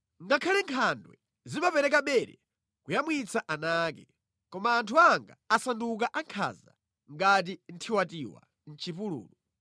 Ngakhale nkhandwe zimapereka bere kuyamwitsa ana ake, koma anthu anga asanduka ankhanza ngati nthiwatiwa mʼchipululu.